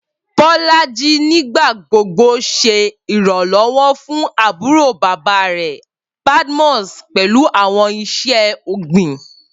Bolaji nigbagbogbo ṣe iranlọwọ fun aburo baba rẹ, Badmus, pẹlu awọn iṣẹ-ogbin.